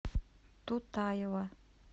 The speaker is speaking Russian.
тутаева